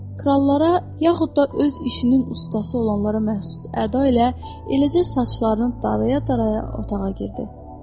Krallara, yaxud da öz işinin ustası olanlara məxsus əda ilə eləcə saçlarını daraya-daraya otağa girdi.